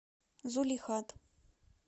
зулихат